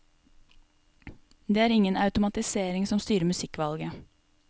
Det er ingen automatisering som styrer musikkvalget.